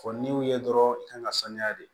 Fɔ n'i y'u ye dɔrɔn i kan ka sanuya de